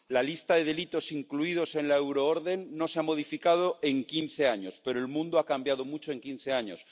La lista de delitos incluidos en la euroorden no se ha modificado en quince años, pero el mundo ha cambiado mucho en quince años.